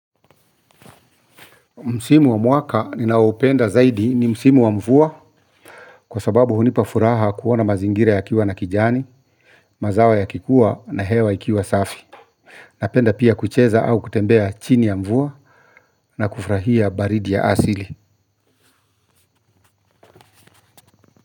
Msimu wa mwaka ninaoupenda zaidi ni msimu wa mvua, kwa sababu hunipa furaha kuona mazingira yakiwa na kijani, mazao yakikua na hewa ikiwa safi. Napenda pia kucheza au kutembea chini ya mvua na kufurahia baridi ya asili.